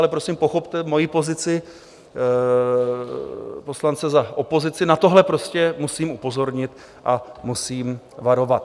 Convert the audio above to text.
Ale prosím, pochopte mojí pozici poslance za opozici, na tohle prostě musím upozornit a musím varovat.